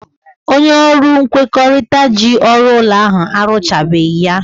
Onye ọrụ nkwekọrịta ji ọrụ ụlọ ahụ arụchabeghị ya.